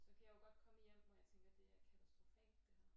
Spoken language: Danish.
Så kan jeg jo godt komme i hjem hvor jeg tænker det er katastrofalt det her